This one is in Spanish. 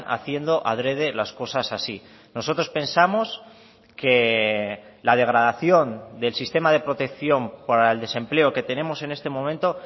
haciendo adrede las cosas así nosotros pensamos que la degradación del sistema de protección para el desempleo que tenemos en este momento